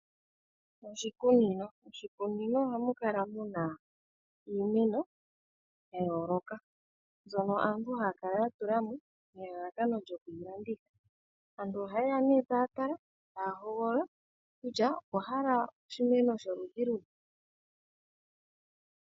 Oshikunino, oshikunino ohamukala muna iimeno yayoloka mbyono aantu haya kala ya tulamo nelalakano lyo yilanditha. Aantu oha yeya nee taatala, taya hoogolola kutya okwa hala oshimeno sholudhi luni.